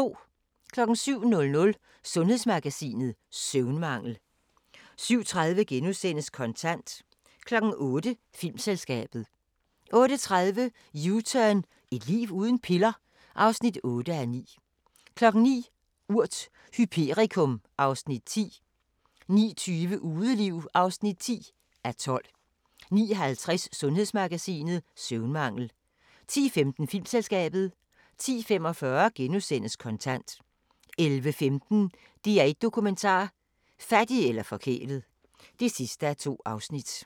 07:00: Sundhedsmagasinet: Søvnmangel 07:30: Kontant * 08:00: Filmselskabet 08:30: U-turn – Et liv uden piller? (8:9) 09:00: Urt: Hyperikum (Afs. 10) 09:20: Udeliv (10:12) 09:50: Sundhedsmagasinet: Søvnmangel 10:15: Filmselskabet 10:45: Kontant * 11:15: DR1 Dokumentar: Fattig eller forkælet (2:2)